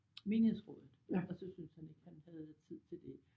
Menighedsrådet og så syntes han ikke han havde tid til det